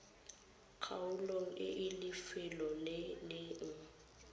kgaolong e lefelo le leng